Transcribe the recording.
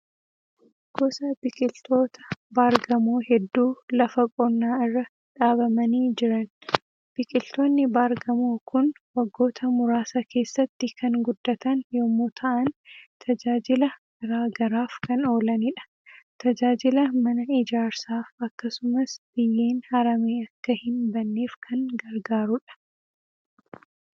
Gosa biqiltoota baar-gamoo hedduu Lafa qonnaa irra dhaabamanii jiran. Biqiltoonni baar-gamoo kun waggoota muraasa keessatti kan guddatan yommuu ta'an tajaajila garaa garaaf kan oolanidha. Tajaajila mana ijaarsaaf akkasumas biyyeen haramee akka hin banneef kan gargaarudha.